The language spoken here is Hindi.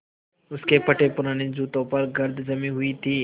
उसके फटेपुराने जूतों पर गर्द जमी हुई थी